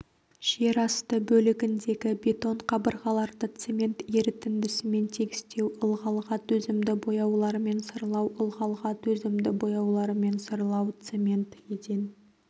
жер асты бөлігіндегі бетон қабырғаларды цемент ерітіндісімен тегістеу ылғалға төзімді бояулармен сырлау ылғалға төзімді бояулармен сырлау цемент еден